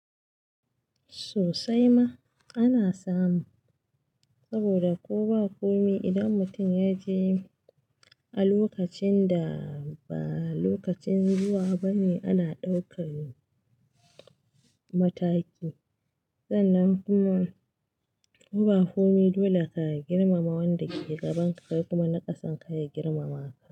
Sosai ma ana samu saboda ko ba komi idan mutum ya je a lokacin da ba lokacin zuwa bane ana ɗaukan mataki. Sannan kuma ko ba komi dole ka girmama wanda ke gabanka kai kuma na kasan ka ya girmama ka.